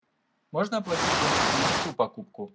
можно оплатить бонусами не всю покупку